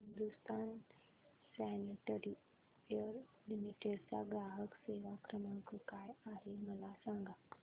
Hindustan sanitaryware limited चा ग्राहक सेवा क्रमांक काय आहे मला सांगा